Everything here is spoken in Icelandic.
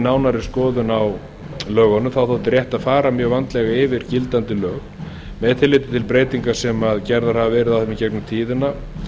nánari skoðun á lögunum þótti rétt að fara mjög vandlega yfir gildandi lög með tilliti til breytinga sem gerðar höfðu verið á þeim í gegnum tíðina